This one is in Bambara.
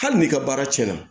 Hali n'i ka baara cɛn na